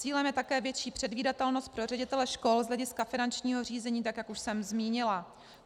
Cílem je také větší předvídatelnost pro ředitele škol z hlediska finančního řízení, tak jak už jsem zmínila.